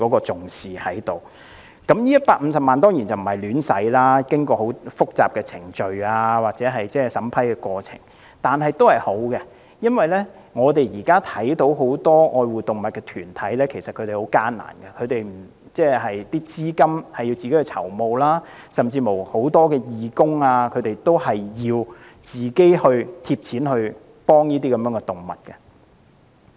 這150萬元當然不會胡亂使用，需要經過很複雜的程序及審批過程，但始終是好事，因為現時很多愛護動物團體其實經營也很艱難，需要自行籌募資金，而很多義工甚至需要自掏腰包幫助動物。